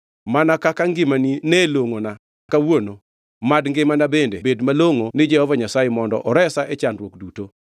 Mana kaka ngimani nelongʼona kawuono, mad ngimana bende bed malongʼo ni Jehova Nyasaye mondo oresa e chandruok duto.”